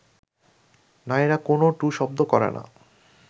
নারীরা কোনও টুঁ শব্দ করে না